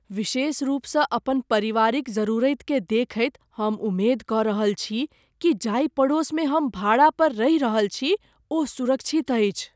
विशेषरूपसँ अपन परिवारक जरूरतिकेँ देखैत हम उम्मेद कऽ रहल छी कि जाहि पड़ोसमे हम भाड़ा पर रहि रहल छी ओ सुरक्षित अछि।